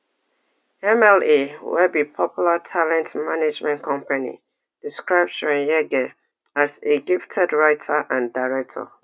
mla wey be popular talent management company describe chweneyagae as a gifted writer and director